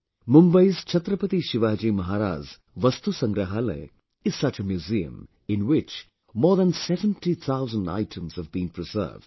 Mumbai's Chhatrapati Shivaji Maharaj VastuSangrahalaya is such a museum, in which more than 70 thousand items have been preserved